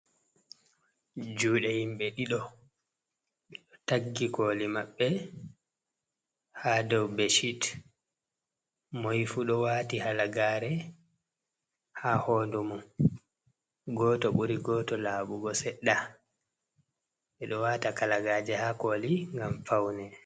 Jude himbe ɗido o taggi koli mabbe ha dow beshit moi fu do wati halagare ha hodu mon goto buri goto labugo sedda bedo wata kalagaje ha koli gam faune.